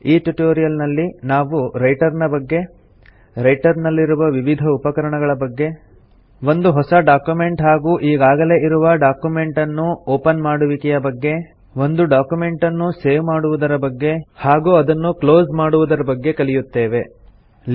ಈ ಟ್ಯುಟೋರಿಯಲ್ ನಲ್ಲಿ ನಾವು ರೈಟರ್ ನ ಬಗ್ಗೆ ರೈಟರ್ ನಲ್ಲಿರುವ ವಿವಿಧ ಉಪಕರಣಗಳ ಬಗ್ಗೆ ಒಂದು ಹೊಸ ಡಾಕ್ಯುಮೆಂಟ್ ಹಾಗೂ ಈಗಾಗಲೇ ಇರುವ ಡಾಕ್ಯುಮೆಂಟ್ ಅನ್ನು ಒಪನ್ ಮಾಡುವಿಕೆಯ ಬಗ್ಗೆ ಒಂದು ಡಾಕ್ಯುಮೆಂಟನ್ನು ಸೇವ್ ಮಾಡುವುದರ ಬಗ್ಗೆ ಹಾಗೂ ರೈಟರ್ ನಲ್ಲಿ ಡಾಕ್ಯುಮೆಂಟನ್ನು ಹೇಗೆ ಕ್ಲೋಸ್ ಮಾಡಬೇಕು ಎನ್ನುವುದರ ಬಗ್ಗೆ ಕಲಿಯುತ್ತೇವೆ